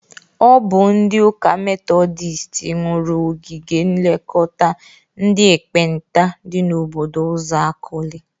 Ọ bụ ndị ụka metọdịst nwuru ogige nlekọta ndị ekpenta dị n'obodo Uzuakoli.